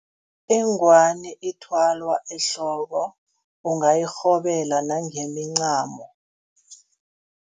Ingwani ithwalwa ehloko ungayirhobela nangemincamo.